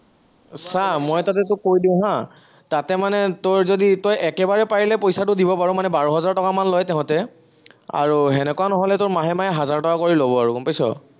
চা মই তাতে তোক কৈ দিম হা, তাতে মানে তই যদি, তই একেবাৰে পাৰিলে পইচাটো দিব পাৰ, মানে বাৰ হাজাৰ টকা মান লয় তাহাঁতে, আৰু সেনেকুৱা নহলে তই মাহে মাহে হাজাৰ টকা কৰি লব আৰু গম পাইছ?